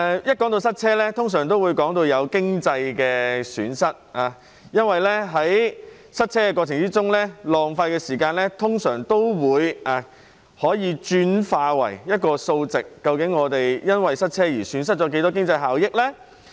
當談到塞車時，通常會提到經濟損失，因為在塞車過程中浪費的時間，通常可轉化為一個數值，得知我們因為塞車而損失的經濟效益。